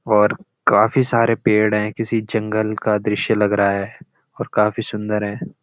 और काफी सारे पेड़ हैं किसी जंगल का दृश्य लग रहा है और काफी सुन्‍दर हैं।